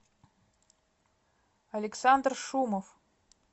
александр шумов